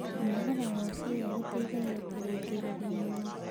Kũnogora kwa ciĩga gũteĩthagĩa kũrũngĩrĩrĩa mwĩrĩ